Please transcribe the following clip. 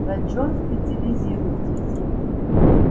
на чём специализируетесь